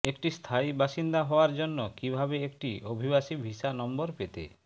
একটি স্থায়ী বাসিন্দা হওয়ার জন্য কিভাবে একটি অভিবাসী ভিসা নম্বর পেতে